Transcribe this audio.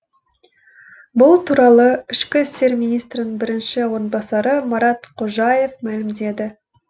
бұл туралы ішкі істер министрінің бірінші орынбасары марат қожаев мәлімдеді